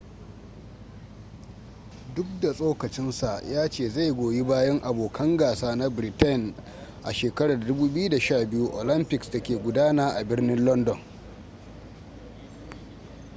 duk da tsokacinsa ya ce zai goyi bayan abokan gasa na britain a 2012 olympics da ke gudana a birnin london